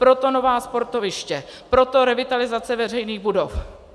Proto nová sportoviště, proto revitalizace veřejných budov.